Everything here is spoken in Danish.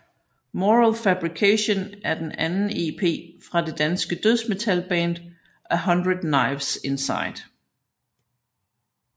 Moral Fabrication er den anden ep fra det danske dødsmetalband 100 Knives Inside